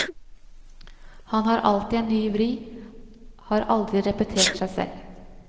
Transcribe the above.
Han har alltid en ny vri, har aldri repetert seg selv.